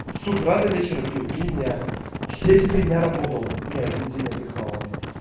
с утра до вечера пил три дня все эти три дня работал не один день отдыхал ладно